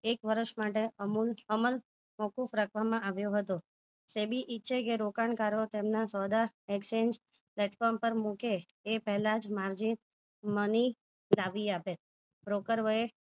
એક વર્ષ માટે અમુલ અમલ મોકૂફ રાખવામાં આવ્યો હતો સેબી ઈચ્છે કે રોકાણકારો તેમના સોદા exchange platform પર મુકે એ પહેલા જ margin money ઉગ્રાવી આપે broker હોય એ